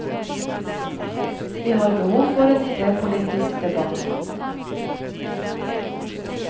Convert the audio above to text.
Vi har behov for en idépolitisk debatt.